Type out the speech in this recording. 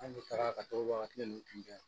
An kun taara ka to a ka kile nunnu tun kɛ